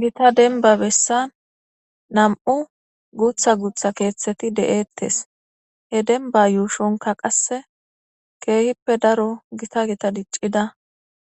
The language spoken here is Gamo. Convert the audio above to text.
gita denba bessan nam7u guutha guutha keeththeti de7eettes he denba yuushonka qasse keehippe daro gita gita diccida